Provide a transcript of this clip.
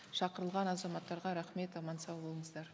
шақырылған азматтарға рахмет аман сау болыңыздар